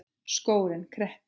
Skórinn kreppir